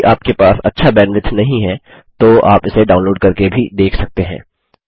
यदि आपके पास अच्छा बैन्ड्विड्थ नहीं है तो आप इसे डाउनलोड़ करके भी देख सकते हैं